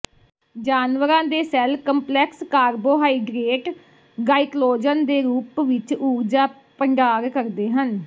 ਜਾਨਵਰਾਂ ਦੇ cell complex carbohydrate glycogen ਦੇ ਰੂਪ ਵਿਚ ਊਰਜਾ ਭੰਡਾਰ ਕਰਦੇ ਹਨ